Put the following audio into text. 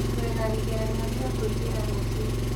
Twĩna igeranio cia kũingĩra rũcio